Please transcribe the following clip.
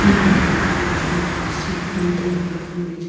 here are the observations we see from the above image.